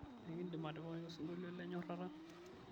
enkidim atipikaki osinkolio le nyorata